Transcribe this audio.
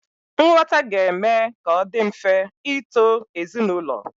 Nghọta ga-eme ka ọ dị mfe ịto ezinaụlọ.